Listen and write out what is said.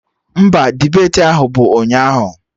Mba, debeti ahụ bụ ụnyaahụ